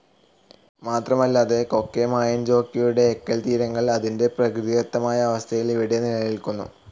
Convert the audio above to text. മാത്രമല്ലാതെ, കൊക്കെമായെൻജോക്കിയുടെ എക്കൽതീരങ്ങൾ അതിൻറെ പ്രകൃതിദത്തമായ അവസ്ഥയിൽ ഇവിടെ നിലനിൽക്കുന്നു.